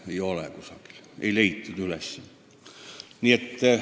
Neid ei ole kusagil või vähemalt pole neid üles leitud.